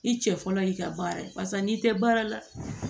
I cɛ fɔlɔ y'i ka baara ye pasa n'i tɛ baara la